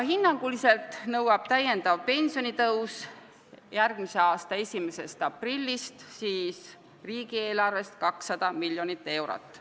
Hinnanguliselt nõuab lisapensionitõus riigieelarvest 200 miljonit eurot.